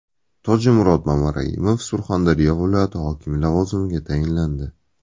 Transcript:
Tojimurod Mamaraimov Surxondaryo viloyati hokimi lavozimiga tayinlandi.